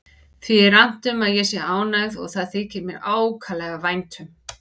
Því er annt um að ég sé ánægð og það þykir mér ákaflega vænt um.